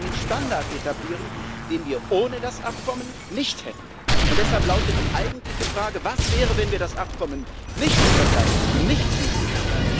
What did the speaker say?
Da werden wir einen Standard etablieren, den wir ohne das Abkommen nicht hätten. Und deshalb lautet die eigentliche Frage Was wäre, wenn wir das Abkommen nicht unterzeichnen, ihm nicht zustimmen?